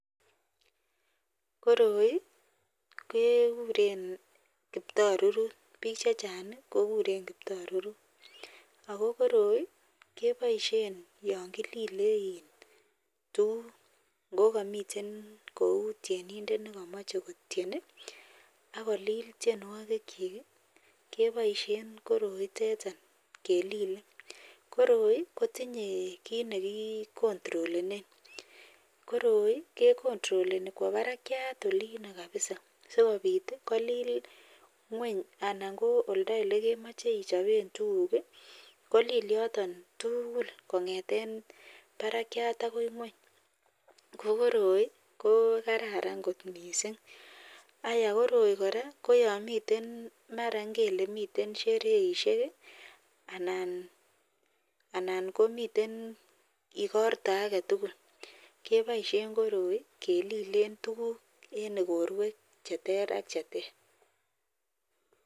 Koroi kekuren kiptarurut bich chechang kikuren kiptarurut akokoroi kebaishen yangilile tos kokamin Chito Neu tienindet nekamache kotien akolil tienwagik chik kebaishen koroi itetan kelile ak koroi kotinye kit nekicontrolenen koroi kecontroleni Kowa barakiat Olin kabisa sikobit kolil ngweny ako oldo yelekemache ichoben tuguk kolil yoton tugul kongeten Barak akoi ngweny kobkoroi ko kararan kot mising ako koroi koraa yamiten mara ingele miten sherehe anan komiten igorta agetugul kebaishen koroi kelilen tuguk en igorwek cheter ak cheter